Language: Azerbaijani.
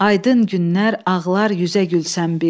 Aydın günlər ağlar üzə gülsən bir.